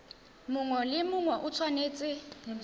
mongwe le mongwe o tshwanetse